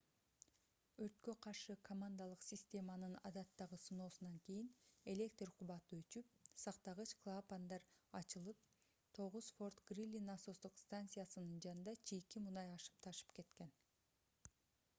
өрткө каршы командалык системанын адаттагы сыноосунан кийин электр кубаты өчүп сактагыч клапандар ачылып 9-форт грили насостук станциясынын жанында чийки мунай ашып-ташып кеткен